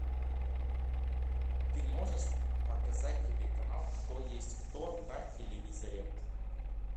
ты можешь показать телеканал кто есть кто на телевизоре